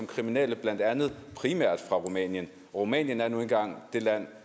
kriminelle primært fra rumænien rumænien er nu engang det land